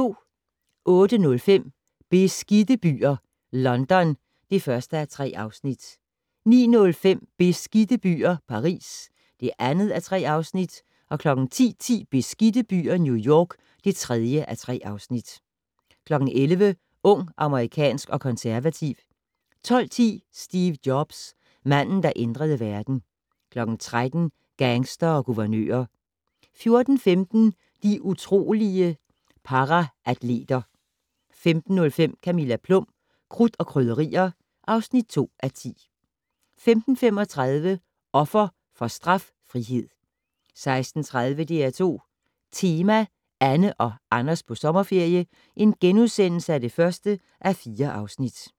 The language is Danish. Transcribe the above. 08:05: Beskidte byer - London (1:3) 09:05: Beskidte byer - Paris (2:3) 10:10: Beskidte byer - New York (3:3) 11:00: Ung, amerikansk og konservativ 12:10: Steve Jobs: Manden der ændrede verden 13:00: Gangstere og guvernører 14:15: De utrolige paraatleter 15:05: Camilla Plum - Krudt og Krydderier (2:10) 15:35: Offer for straffrihed 16:30: DR2 Tema: Anne og Anders på sommerferie (1:4)*